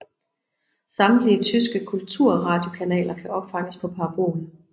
Samtlige tyske kulturradiokanaler kan opfanges på parabol